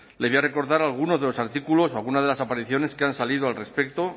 le voy a recordar algunos de los artículos o algunas de las apariciones que han salido al respecto